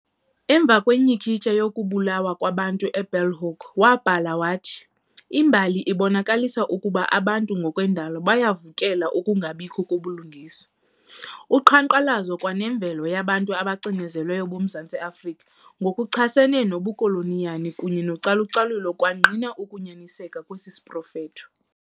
Emva kwenyhikityha yokubulawa kwabantu e-Bulhoek wabhala wathi- "Imbali ibonakalisile ukuba abantu ngokwendalo bayabuvukela ukungabikho kobulungisa". Uqhankqalazo kwa nemvukelo yabantu abacinezelweyo boMzantsi Afrika ngokuchasene nobukoloniyali kunye nocalu-calulo kwangqina ukunyaniseka kwesi siprofetho.